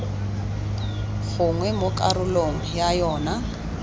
gongwe mo karolong ya yona